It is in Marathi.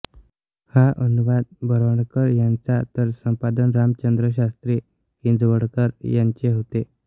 हा अनुवाद बोरवणकर यांचा तर संपादन रामचंद्रशास्त्री किंजवडेकर यांचे होते